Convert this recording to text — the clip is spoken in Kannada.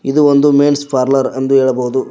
ಇದು ಒಂದು ಮೆನ್ಸ್ ಪಾರ್ಲರ್ ಅಂದು ಹೇಳಬಹುದು.